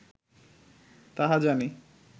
তাহা জানি